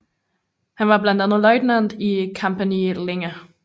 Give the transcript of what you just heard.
Han var blandt andet løjtnant i Kompani Linge